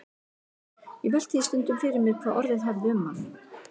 Ég velti því stundum fyrir mér hvað orðið hefði um hann.